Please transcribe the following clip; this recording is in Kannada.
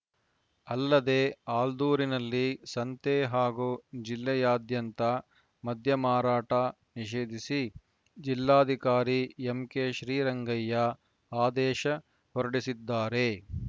ಅಲ್ಲದೆ ಆಲ್ದೂರಿನಲ್ಲಿ ಸಂತೆ ಹಾಗೂ ಜಿಲ್ಲೆಯಾದ್ಯಂತ ಮದ್ಯ ಮಾರಾಟ ನಿಷೇಧಿಸಿ ಜಿಲ್ಲಾಧಿಕಾರಿ ಎಂಕೆಶ್ರೀರಂಗಯ್ಯ ಆದೇಶ ಹೊರಡಿಸಿದ್ದಾರೆ